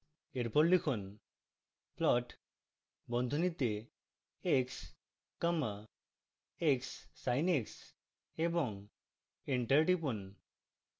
এরপর লিখুন: plot বন্ধনীতে x comma xsin x এবং enter টিপুন